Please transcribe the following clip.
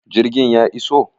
Jirgin ya iso?